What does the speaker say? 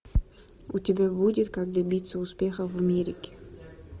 у тебя будет как добиться успеха в америке